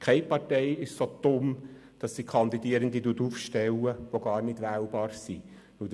Keine Partei ist so dumm, Kandidierende aufzustellen, die gar nicht wählbar sind.